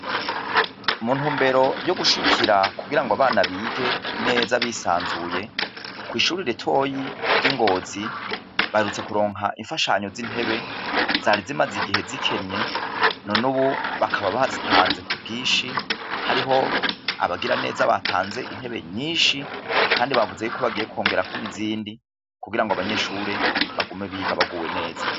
Muntu mbero yo gushikira kugira ngo abana bige neza bisanzuye kw'ishurira itoyi ry'ingozi barutse kuronka imfashanyo z'intebe zari zimaze igihe zikenye none, ubu bakaba bazitanze ku bwishi hariho abagira neza batanze intebe nyinshi, kandi bavuze yuko bagiye kwongera ko nizindi kugira ngo abanyeshure bagume biga baguwe neza.